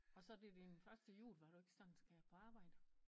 Og så er det din første jul hvor du ikke sådan skal på arbejde?